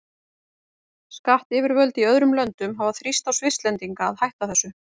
Skattyfirvöld í öðrum löndum hafa þrýst á Svisslendinga að hætta þessu.